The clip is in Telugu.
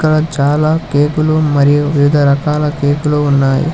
ఇక్కడ చాలా కేకులు మరియు వివిధ రకాల కేకులు ఉన్నాయి